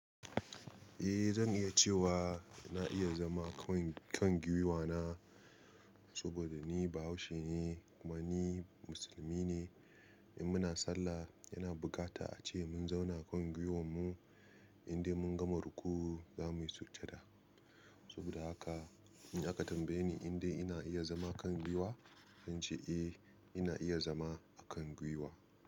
Eh zan iya cewa na iya zama kan giwa na, saboda ni Bahaushe ne kuma ni musulmi ne. In muna sallah yana bukata ace mun zauna kan giwan mu inda mun gama rukuu zamuyi sujjada. Saboda haka in aka tambaye ni inda ina iya zama kan giwa, zan ce eh ina iya zama a kan giwa.